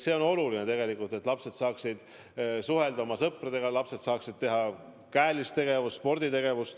On oluline, et lapsed saaksid suhelda oma sõpradega, et lapsed saaksid teha käelist tegevust, sportida.